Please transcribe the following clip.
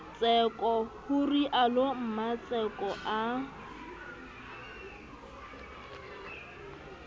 tseko ho realo mmatseko a